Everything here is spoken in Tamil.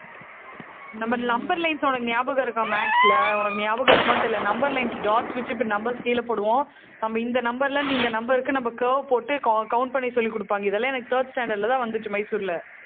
நம்ம number lines உனக்கு ஞாபகம் இருக்கா maths ல? உனக்கு ஞாபகம் இருக்குமான்னு தெரியலே. number lines dots வச்சு, இப்படி numbers கீழே போடுவோம் இந்த number ல இருந்து, இந்த number க்கு, நம்ம curve போட்டு cou~ count பண்ணி சொல்லிக் கொடுப்பாங்க. இதெல்லாம், எனக்கு, third standard லதான் வந்துச்சு மைசூர்ல